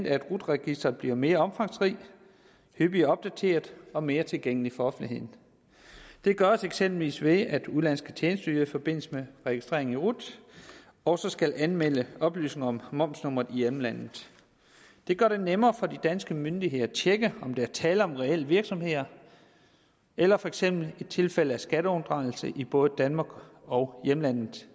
at rut registeret bliver mere omfangsrigt hyppigere opdateret og mere tilgængeligt for offentligheden det gøres eksempelvis ved at udenlandske tjenesteydere i forbindelse med registreringen i rut også skal anmelde oplysning om momsnummeret i hjemlandet det gør det nemmere for de danske myndigheder at tjekke om der er tale om reelle virksomheder eller for eksempel tilfælde af skatteunddragelse i både danmark og hjemlandet